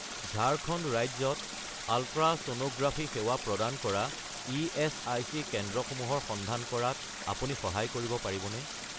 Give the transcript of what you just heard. ঝাৰখণ্ড ৰাজ্যত আলট্ৰাছ'ন'গ্ৰাফি সেৱা প্ৰদান কৰা ইএচআইচি কেন্দ্ৰসমূহৰ সন্ধান কৰাত আপুনি সহায় কৰিব পাৰিবনে?